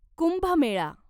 Kumbh Mela